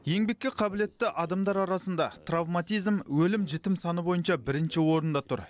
еңбекке қабілетті адамдар арасында травматизм өлім жітім саны бойынша бірінші орында тұр